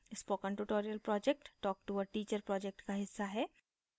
spoken tutorial project talktoa teacher project का हिस्सा है